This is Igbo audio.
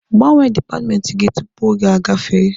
Gbanwe dipatmenti gị tupu oge agafee!